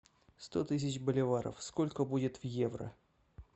сто тысяч боливаров сколько будет в евро